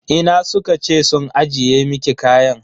Ina suka ce sun ajiye miki kaya?